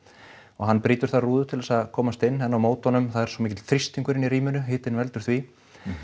og hann brýtur þar rúðu til þess að komast inn en á móti honum það er svo mikill þrýstingur inni í rýminu hitinn veldur því